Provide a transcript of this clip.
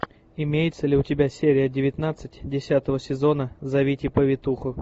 имеется ли у тебя серия девятнадцать десятого сезона зовите повитуху